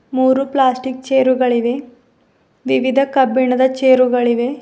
ಮೂರು ಪ್ಲಾಸ್ಟಿಕ್ ಚೇರುಗಳಿವೆ ವಿವಿಧ ಕಬ್ಬಿಣದ ಚೇರುಗಳಿವೆ.